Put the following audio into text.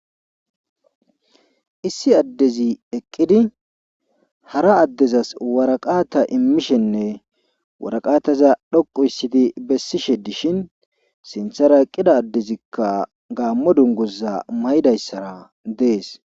Issi addezi eqqidi hara addezas waraqaata immishenne waraqaataza dhoqu issidi bessishe dishin sinthara qida addezikka gaammo dunguza may7dayssara dees.